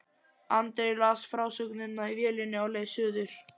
Andri las frásögnina í vélinni á leið suður.